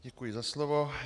Děkuji za slovo.